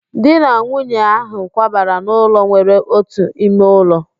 Di na nwunye ahị kwabara n'ụlọ nwere otu ime ụlọ